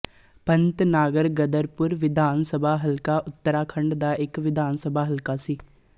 ਪੰਤਨਾਗਰਗਦਰਪੁਰ ਵਿਧਾਨ ਸਭਾ ਹਲਕਾ ਉੱਤਰਾਖੰਡ ਦਾ ਇੱਕ ਵਿਧਾਨ ਸਭਾ ਹਲਕਾ ਸੀ